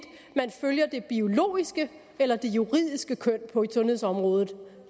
man følger det biologiske eller det juridiske køn på sundhedsområdet